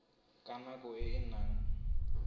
ka nako e a neng